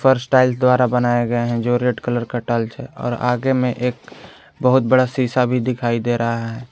फर्श टाइल्स द्वारा बनाए गए हैं जो रेड कलर का टाइल्स है और आगे में एक बहुत बड़ा शिशा भी दिखाई दे रहा है।